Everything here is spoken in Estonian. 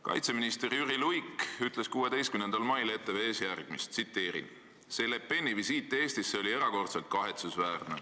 Kaitseminister Jüri Luik ütles 16. mail ETV-s järgmist: "See Le Peni visiit Eestisse oli erakordselt kahetsusväärne.